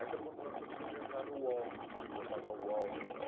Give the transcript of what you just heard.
Aí foi quando nós conseguimos entrar no Uol, no portal do Uol.